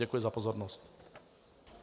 Děkuji za pozornost.